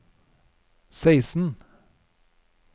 seksten